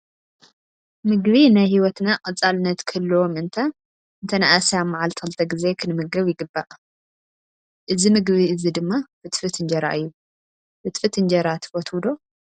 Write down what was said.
ምግቢ ናይ ሂወትና ቀፃለነት ክህልዎ ምእታ እንተነኣሰ ኣብ መዓልቲ ክልተ ግዜ ክንምገብ ይግባእ። እዚ ምግቢ እዚ ድማ ፍትፍት እንጀራ እዩ። ፍትፍት እንጀራ ትፈትው ዶ?